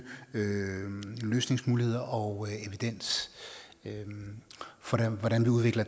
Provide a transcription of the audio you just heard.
løsningsmuligheder og evidens for hvordan man udvikler